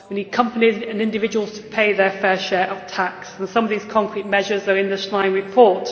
We need companies and individuals to pay their fair share of tax, and some of these concrete measures are in the Schlein report.